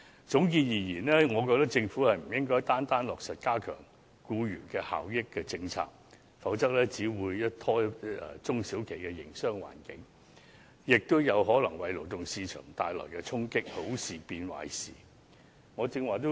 總結而言，我覺得政府不應單方面落實加強僱員權益的政策，否則只會拖累中小企的營商環境，亦有可能為勞動市場帶來衝擊，令好事變壞事。